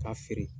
K'a feere